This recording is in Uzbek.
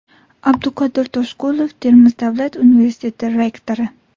Abduqodir Toshqulov, Termiz davlat universiteti rektori.